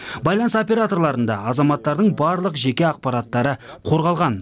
байланыс операторларында азаматтардың барлық жеке ақпараттары қорғалған